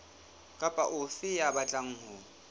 kapa ofe ya batlang ho